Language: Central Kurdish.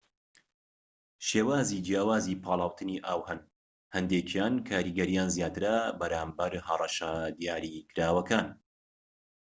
شێوازی جیاوازی پاڵاوتنی ئاو هەن، هەندێکیان کاریگەریان زیاترە بەرامبەر هەڕەشە دیاریکراوەکان‎